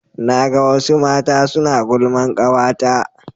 na ga wasu mata suna gulman kawata ta